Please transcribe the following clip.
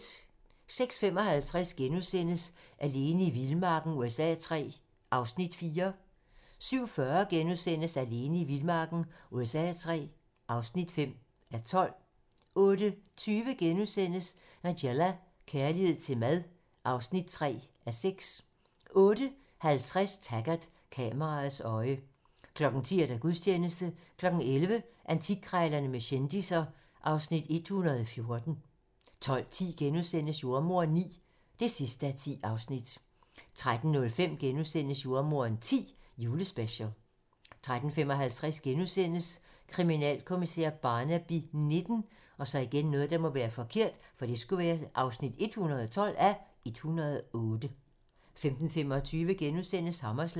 06:55: Alene i vildmarken USA III (4:12)* 07:40: Alene i vildmarken USA III (5:12)* 08:20: Nigella - kærlighed til mad (3:6)* 08:50: Taggart: Kameraets øje 10:00: Gudstjeneste 11:00: Antikkrejlerne med kendisser (Afs. 114) 12:10: Jordemoderen IX (10:10)* 13:05: Jordemoderen X: Julespecial * 13:55: Kriminalkommissær Barnaby XIX (112:108)* 15:25: Hammerslag *